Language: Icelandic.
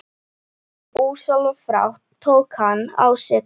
En ósjálfrátt tók hann á sig krók.